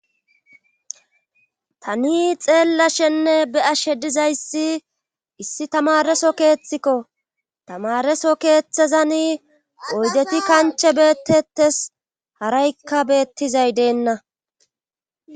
tani xeellashenne be ashe dizayssi issi tamareso keeththikko tamareso keeththezani oydeti kanche beettettes haraykka beettizay deenna